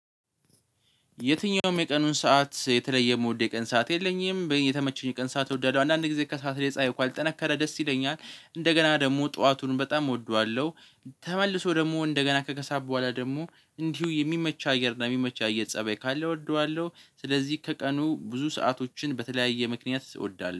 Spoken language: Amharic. የትኛውም የቀኑን ሰዓት የተለየ የምወደው የቀን ሰዓት የለኝም የተመቸኝ የቀን ሰዓት ወደደው አንዳንድ ጊዜ ከሰአት ላይ ጻይ ኳል ጠነከረ ደስ ይለኛል እንደገና ደግሞ ጠዋቱን በጣም እወደዋለሁ። ተመልሶ ደግሞ እንደገና ከክሰአት በኋላ ደግሞ እንዲሁ የሚመች አየር እና የሚመች አየር ፀበይ ካለ እወደዋለሁ ስለዚህ ከቀኑ ብዙ ሰአቶችን በተለያየ ምክንያት እወዳለሁ